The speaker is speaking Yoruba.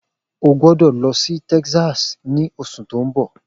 O gbọ́dọ̀ lọ sí Texas ní oṣù tó ń bọ̀